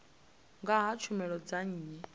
nga ha tshumelo dza nnyi